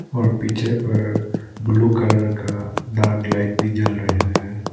और पीछे पर ब्लू कलर का डार्क लाइट भी जल रहे हैं।